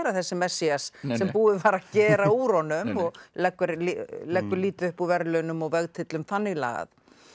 þessi Messías sem búið var að gera úr honum og leggur leggur lítið upp úr verðlaunum og vegtyllum þannig lagað